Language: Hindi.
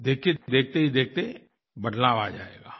देखिए देखते ही देखते बदलाव आ जाएगा